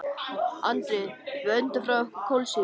Andri: Við öndum frá okkur kolsýru.